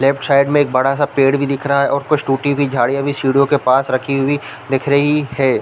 Left side में एक बड़ा -सा पेड़ भी दिख रहा है और कुछ टूटी हुई झाड़ियाँ भी सीढ़ियों के पास रखी हुई दिख रही हैं ।